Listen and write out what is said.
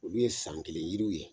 Olu ye san kelen yiriw ye